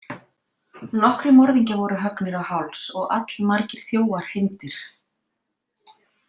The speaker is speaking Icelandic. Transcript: Nokkrir morðingjar voru höggnir á háls og allmargir þjófar hengdir.